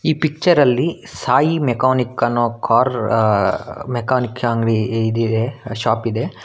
ಈ ಪಿಚ್ಚರ ಲ್ಲಿ ಸಾಯಿ ಮೆಕಾನಿಕ್ ಅನ್ನೋ ಕಾರ್ ಮೆಕಾನಿಕ್ ಅಂಗಡಿ ಇದಿದೆ ಶಾಪ್ ಇದೆ.